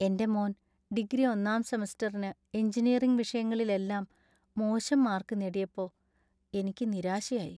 എന്‍റെ മോന്‍ ഡിഗ്രി ഒന്നാം സെമസ്റ്ററിന് എഞ്ചിനീയറിംഗ് വിഷയങ്ങളിലെല്ലാം മോശം മാർക്ക് നേടിയപ്പോ, എനിക്ക് നിരാശയായി.